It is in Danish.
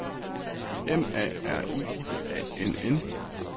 M A R I A N N